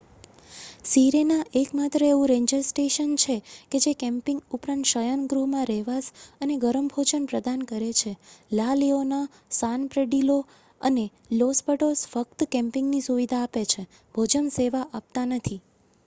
Sirena એકમાત્ર એવું ranger station છે કે જે કેમ્પિંગ ઉપરાંત શયનગૃહમાં રહેવાસ અને ગરમ ભોજન પ્રદાન કરે છે લા લિઓના સાન પેડ્રિલો અને લોસ પેટોસ ફક્ત કેમ્પિંગની સુવિધા આપે છે ભોજનની સેવા નથી આપતા